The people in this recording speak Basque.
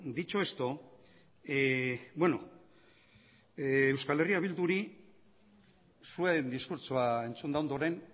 dicho esto euskal herria bilduri zuen diskurtsoa entzunda ondoren